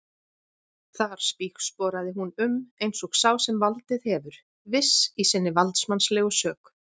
Þar spígsporaði hún um eins og sá sem valdið hefur, viss í sinni valdsmannslegu sök.